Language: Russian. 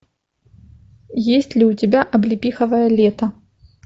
есть ли у тебя облепиховое лето